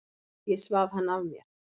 Ég svaf hann af mér.